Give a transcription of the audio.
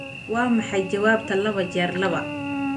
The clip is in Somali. waa maxay jawaabta laba jeer laba